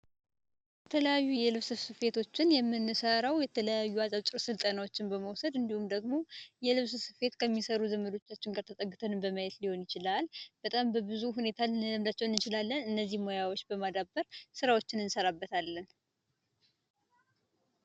የተለያዩ የልብስ ስፌቶችን የምንሰራው የተለያዩ አጫጭር ስልጠናዎችን በመውሰድ እንዲሁም ደግሞ የልብስ ስፌት ከሚሰሩ ዘመዶቻችን ተጠግተን በማየት ሊሆን ይችላል በጣም በብዙ ሁኔታ ልንለምዳቸው እንችላለን እነዚህን ሙያዎች በማዳበር በጣም ብዙ ስራዎችን ልንሰራባቸው እንችላለን።